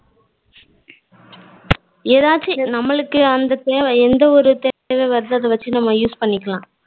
எதாச்சு நமளுக்கு அந்த தேவ எந்த ஒரு தேவ வருதோ அத வச்சு நம்ம use பண்ணிக்கலாம்.